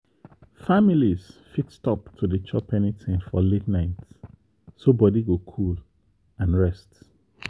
families fit stop to dey chop anything for late night so body go cool and rest.